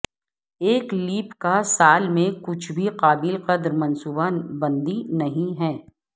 ایک لیپ کا سال میں کچھ بھی قابل قدر منصوبہ بندی نہیں ہے